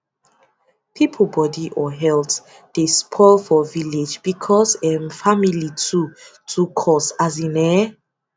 people body or health dey spoil for village because um family too too cost as in eh